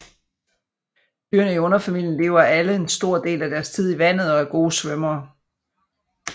Dyrene i underfamilien lever alle en stor del af deres tid i vandet og er gode svømmere